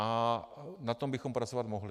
A na tom bychom pracovat mohli.